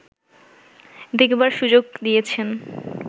দেখবার সুযোগ দিয়েছেন